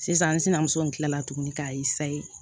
Sisan n sinamuso in kilala tuguni k'a